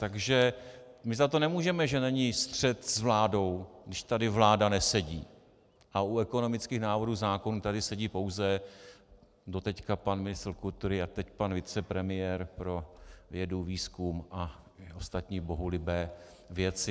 Takže my za to nemůžeme, že není střet s vládou, když tady vláda nesedí a u ekonomických návrhů zákonů tady sedí pouze doteď pan ministr kultury a teď pan vicepremiér pro vědu, výzkum a ostatní bohulibé věci.